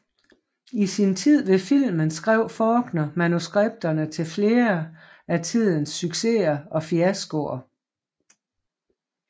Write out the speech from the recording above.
I sin tid ved filmen skrev Faulkner manuskripterne til flere af tidens succeser og fiaskoer